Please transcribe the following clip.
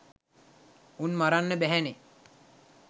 උන් මරන්න බැහැනෙ